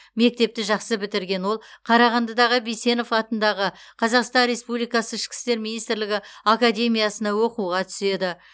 мектепті жақсы бітірген ол қарағандыдағы бейсенов атындағы қазақстан республикасы іщкі істер министрлігі академиясына оқуға түседі